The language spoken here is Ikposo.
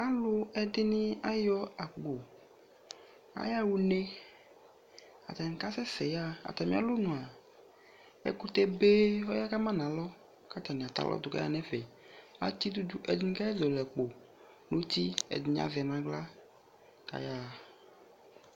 Aluɛde ne ayɔ akpo, ayaha une Atane kasɛsɛ yaa Atame alɔmua ɛkutɛbe ko ɔya kama no alɔ ko atane atɛ alɔdo ko ayaa no ɛfɛAtɛ udu do Ɛdene kasɛ zɔle akpo no uti, ɛdene azɛ no ahla ko ayaha